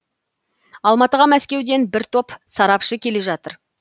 алматыға мәскеуден бір топ сарапшы келе жатыр